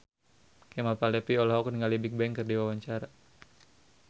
Kemal Palevi olohok ningali Bigbang keur diwawancara